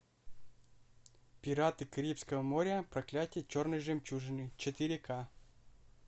пираты карибского моря проклятие черной жемчужины четыре ка